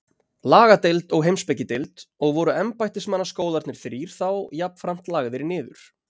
Lagadeild og Heimspekideild, og voru embættismannaskólarnir þrír þá jafnframt lagðir niður.